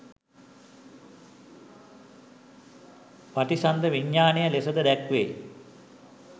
පටිසන්ධි විඤ්ඤාණය ලෙසද දැක්වේ.